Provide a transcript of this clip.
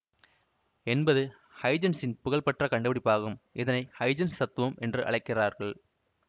என்பது ஹைஜென்ஸின் புகழ் பெற்ற கண்டுபிடிப்பாகும் இதனை ஹைஜன்ஸ் தத்துவம் என்று அழைக்கிறார்கள்